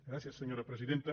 gràcies senyora presidenta